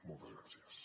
moltes gràcies